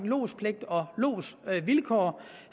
lodspligt og lodsvilkår